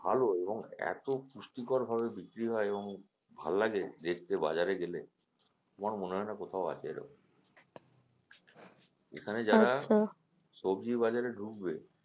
ভালো এবং এতো পুষ্টিকর ভাবে বিক্রি হয় এবং ভাল লাগে দেখতে বাজারে গেলে আমার মনে হয়না কোথাও আছে এরকম এখানে যারা সবজি বাজারে ঢুকবে,